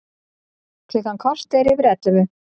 Klukkan korter yfir ellefu